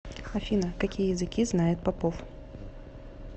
афина какие языки знает попов